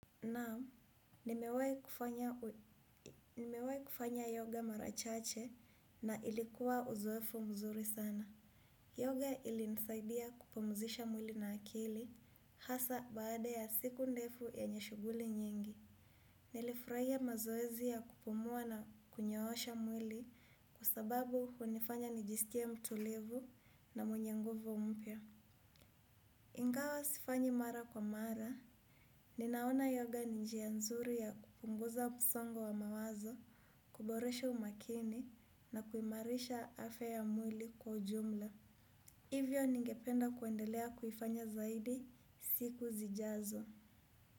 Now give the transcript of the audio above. Naam, nimewai kufanya yoga mara chache na ilikuwa uzoefu mzuri sana. Yoga ilinisaidia kupumzisha mwili na akili hasa baada ya siku ndefu yenye shuguli nyingi. Nilifuraiya mazoezi ya kupumua na kunyoosha mwili kwa sababu hunifanya nijiskie mtulivu na mwenye nguvu mpya. Ingawa sifanyi mara kwa mara, ninaona yoga ni njia nzuri ya kupunguza msongo wa mawazo, kuboresha umakini na kuimarisha afya ya mwili kwa ujumla. Hivyo ningependa kuendelea kuifanya zaidi siku zijazo.